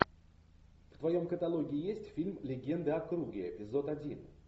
в твоем каталоге есть фильм легенды о круге эпизод один